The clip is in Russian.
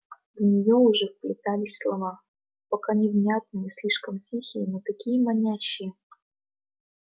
в нее уже вплетались слова пока невнятные слишком тихие но такие манящие